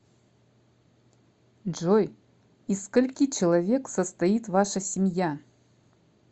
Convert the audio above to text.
джой из скольки человек состоит ваша семья